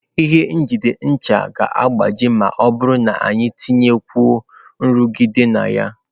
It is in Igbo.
Ihe njide ncha ga-agbaji ma ọ bụrụ na anyị etinyekwu nrụgide na ya.